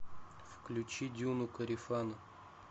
включи дюну корефана